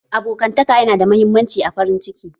Abokantaka ya nada muhimmanci a farin ciki